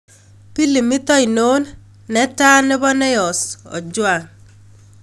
Pilimit ainon netaa ne po neyos' Ojwang